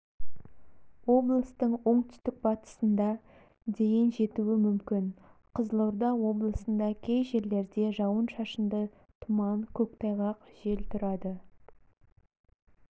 облыстың оңтүстік батысында дейін жетуі мүмкін қызылорда облысында кей жерлерде жауын-шашынды тұман көктайғақ жел тұрады